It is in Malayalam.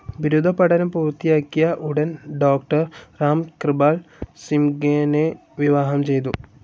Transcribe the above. ബിരുദ പഠനം പൂർത്തിയാക്കിയ ഉടൻ ഡോക്ടർ റാം കൃപാൽ സിംഘ്‌നേ വിവാഹം ചെയ്തു.